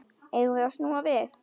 Eigum við snúa við?